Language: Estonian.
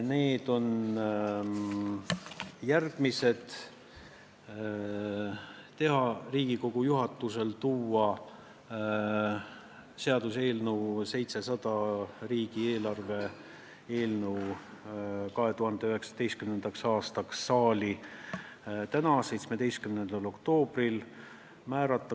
Riigikogu juhatusele otsustati teha ettepanek tuua seaduseelnõu 700, 2019. aasta riigieelarve eelnõu saali täna, 17. oktoobril.